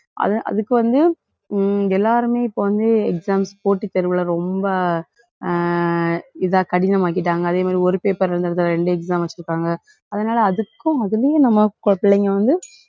அதை அதுக்கு வந்து, எல்லாருமே இப்ப வந்து exams போட்டித் தேர்வுல ரொம்ப ஆஹ் இதா கடினமாக்கிட்டாங்க. அதே மாதிரி ஒரு paper ல ரெண்டு exam வச்சுருக்காங்க. அதனால அதுக்கும் அதுலயும் நம்ம பிள்ளைங்க வந்து